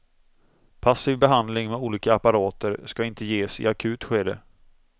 Passiv behandling med olika apparater ska inte ges i akut skede.